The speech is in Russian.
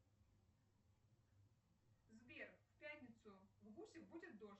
сбер в пятницу в гусях будет дождь